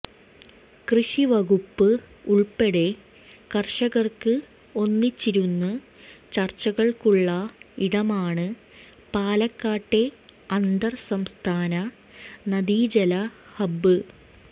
കൃഷി വകുപ്പ് ഉൾപ്പെടെ കർഷകർക്ക് ഒന്നിച്ചിരുന്ന് ചർച്ചകൾക്കുള്ള ഇടമാണ് പാലക്കാട്ടെ അന്തർ സംസ്ഥാന നദീജല ഹബ്ബ്